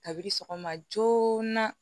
Kabi sɔgɔma joona